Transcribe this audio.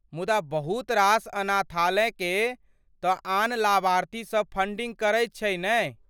मुदा बहुत रास अनाथालयकेँ तँ आन लाभार्थी सभ फंडिंग करैत छै नहि?